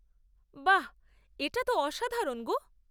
বাহ!, এটা তো অসাধারণ গো।